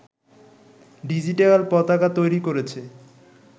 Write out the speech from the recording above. digital পতাকা তৈরি করেছে